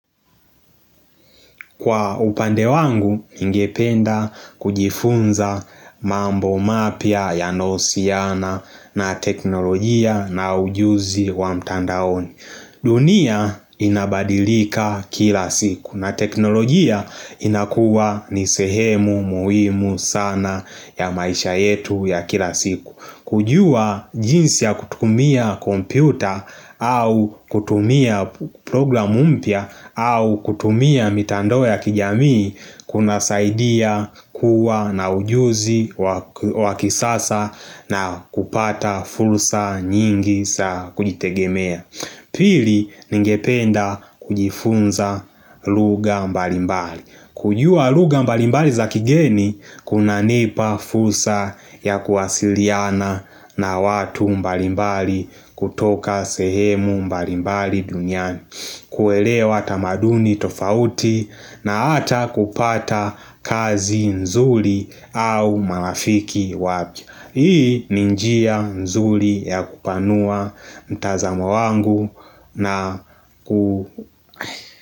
Kwa upande wangu ningependa kujifunza mambo mapya yanayo uhusiana na teknolojia na ujuzi wa mtandaoni dunia inabadilika kila siku na teknolojia inakuwa ni sehemu muhimu sana ya maisha yetu ya kila siku kujua jinsi ya kutumia kompyuta au kutumia programu mpya au kutumia mitandao ya kijamii kunasaidia kuwa na ujuzi wa kisasa na kupata fursa nyingi za kujitegemea Pili ningependa kujifunza lugha mbalimbali kujua lugha mbalimbali za kigeni, kunanipa fusra ya kuwasiliana na watu mbalimbali kutoka sehemu mbalimbali duniani kuelewa tamaduni tofauti na hata kupata kazi nzuri au marafiki wapya Hii ni njia nzuri ya kupanua mtazamo wangu na ku.